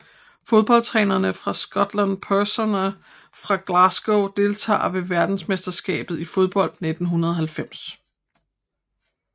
Fodboldtrænere fra Skotland Personer fra Glasgow Deltagere ved verdensmesterskabet i fodbold 1990